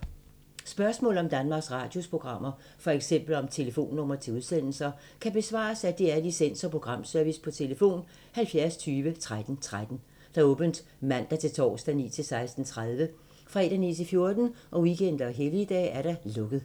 Spørgsmål om Danmarks Radios programmer, f.eks. om telefonnumre til udsendelser, kan besvares af DR Licens- og Programservice: tlf. 70 20 13 13, åbent mandag-torsdag 9.00-16.30, fredag 9.00-14.00, weekender og helligdage: lukket.